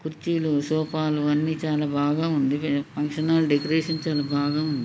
కుర్చీలు సోఫాలు అన్నీ చాల బాగా ఉండివి ఫంక్షన్ హాల్ డెకరేషన్ చాల బాగ ఉంది .